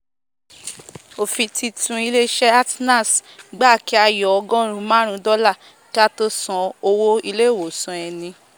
òfin titun ilé isé atnals gba kí á yọ ọgóòrún máàrún dólà kí á tó san owó ilé ìwòsàn ẹni